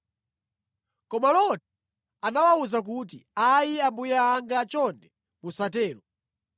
Koma Loti anawawuza kuti, “Ayi, ambuye anga chonde musatero!